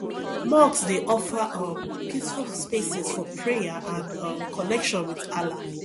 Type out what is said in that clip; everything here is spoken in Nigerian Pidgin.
mosques dey offer um peaceful spaces for prayer and um connection with allah